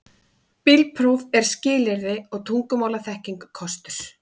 Bílpróf er skilyrði og tungumálaþekking kostur